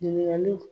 Ɲininkaliw